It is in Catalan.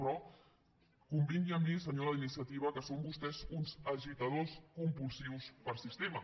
però convingui amb mi senyora d’iniciativa que són vostès uns agitadors compulsius per sistema